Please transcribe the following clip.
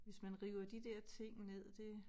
Hvis man river de der ting ned det